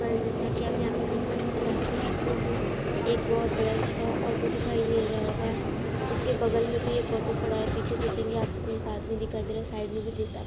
guys जैसा की आप यहाँ पे देख सकते हैं यहाँ पे आपको एक बहोत बड़ा-सा ऑटो दिखाई दे रहा होगा उसके बगल में भी एक ऑटो खड़ा है पीछे देखेंगे आपको एक आदमी दिखाई दे रहा है साइड में भी--